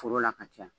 Foro la ka caya